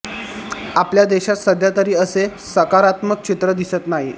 आपल्या देशात सध्या तरी असे सकारात्मक चित्र दिसत नाही